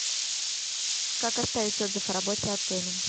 как оставить отзыв о работе отеля